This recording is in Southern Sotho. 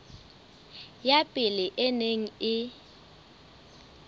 ya pele e neng e